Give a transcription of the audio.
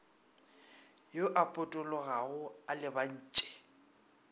yo a potologago a lebantše